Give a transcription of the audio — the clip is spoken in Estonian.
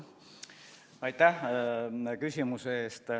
Aitäh küsimuse eest!